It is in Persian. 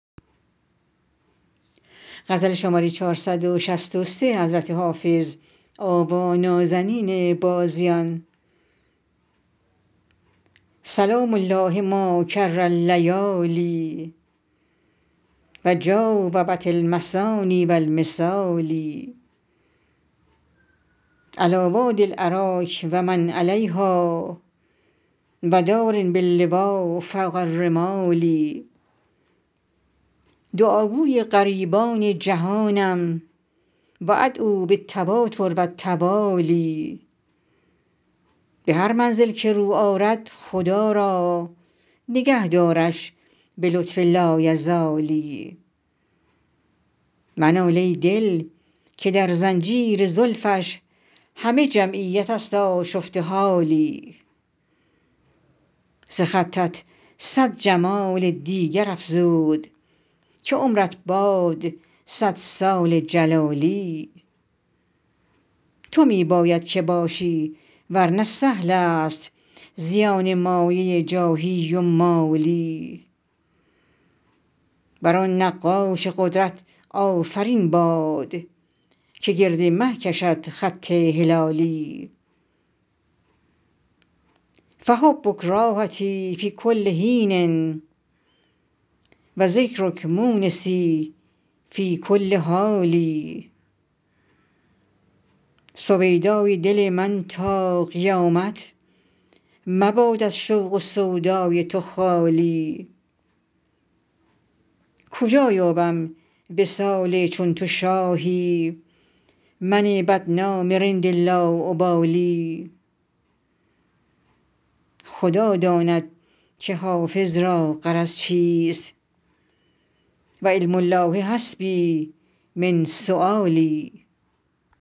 سلام الله ما کر اللیالی و جاوبت المثاني و المثالي علیٰ وادي الأراک و من علیها و دار باللویٰ فوق الرمال دعاگوی غریبان جهانم و أدعو بالتواتر و التوالي به هر منزل که رو آرد خدا را نگه دارش به لطف لایزالی منال ای دل که در زنجیر زلفش همه جمعیت است آشفته حالی ز خطت صد جمال دیگر افزود که عمرت باد صد سال جلالی تو می باید که باشی ور نه سهل است زیان مایه جاهی و مالی بر آن نقاش قدرت آفرین باد که گرد مه کشد خط هلالی فحبک راحتی فی کل حین و ذکرک مونسی فی کل حال سویدای دل من تا قیامت مباد از شوق و سودای تو خالی کجا یابم وصال چون تو شاهی من بدنام رند لاابالی خدا داند که حافظ را غرض چیست و علم الله حسبي من سؤالي